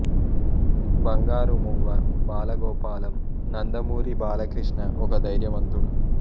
బంగారు మువ్వ బాల గోపాలం నందమూరి బాలకృష్ణ ఒక ధైర్యవంతుడు